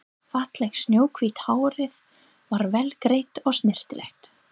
Fallegt snjóhvítt hárið var vel greitt og snyrtilegt.